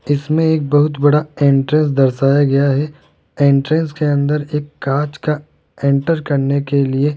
इसमें एक बहुत बड़ा एंट्रेंस दर्शाया गया है एंट्रेंस के अंदर एक कांच का इंटर करने के लिए --